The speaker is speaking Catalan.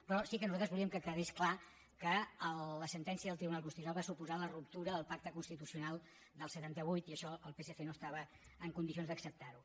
però sí que nosaltres volíem que quedés clar que la sentència del tribunal constitucional va suposar la ruptura del pacte constitucional del setanta vuit i això el psc no estava en condicions d’acceptar ho